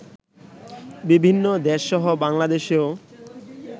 বিভিন্ন দেশসহ বাংলাদেশেও